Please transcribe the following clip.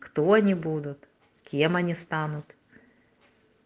кто они будут кем они станут